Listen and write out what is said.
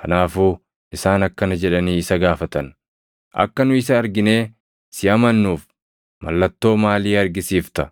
Kanaafuu isaan akkana jedhanii isa gaafatan; “Akka nu isa arginee si amannuuf, mallattoo maalii argisiifta?